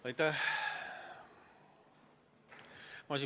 Aitäh!